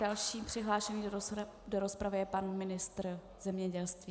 Další přihlášený do rozpravy je pan ministr zemědělství.